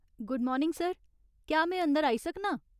Good morning sir, क्या में अंदर आई सकनां ?